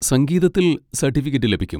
സംഗീതത്തിൽ സർട്ടിഫിക്കറ്റ് ലഭിക്കും.